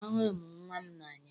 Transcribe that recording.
Ahụrụ m nnwa m n'anya.